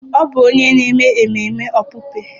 Ọ bụ onye na-eme ememe okpukpe